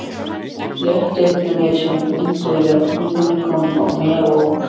Léttirinn sem fylgdi játningunni kom mér á óvart.